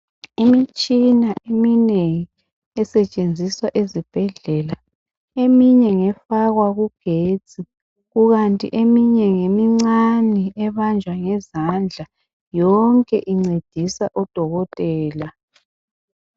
Imitshina eminengi esetshenziswa ezibhedlela eminye ngefakwa kugetsi kukanti eminye ngemincane ebanjwa ngezandla yonke incedisa odoketela.